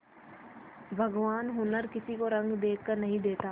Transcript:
भगवान हुनर किसी को रंग देखकर नहीं देता